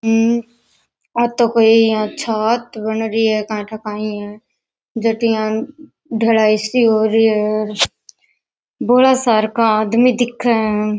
आ तो कोई छात बन रही है काई ठा काई है जठे यान ढलाई सी हो रही है बौला सार का आदमी दिखे है।